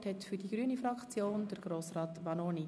Das Wort hat für die Grüne Fraktion Grossrat Vanoni.